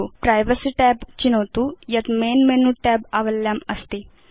privacy tab चिनोतु यत् main menu tab आवल्यामस्ति